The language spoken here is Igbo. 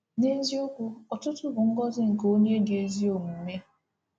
N’eziokwu, ọtụtụ bụ ngọzi nke onye dị ezi omume.